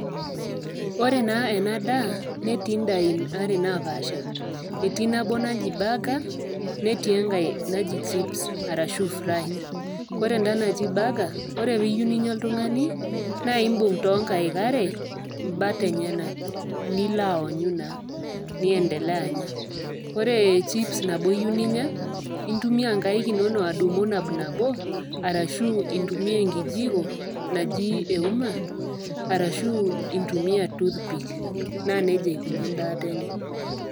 Ore naa ena daa netii indaiki are napaasha, etii nabo naji Burger, netii enkai naji chips arashu fries. Ore enda naji burger ore pee iyou ninya oltung'ani naa imbung' too inkaik are imbat enyena, nilo aonyu naa, niendelea anya . Ore chips nabo iyou ninya intumia inkaik inono adumu nabo nabo arashu intumiya enkijiko naji euma arashu intumiya toothpick. Naa neija eikuni endaata enye.